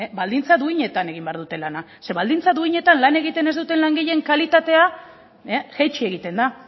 baldintza duinetan egin behar dute lana zeren baldintza duinetan lan egiten ez duten langileen kalitatea jaitsi egiten da